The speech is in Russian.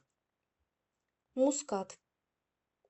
мускат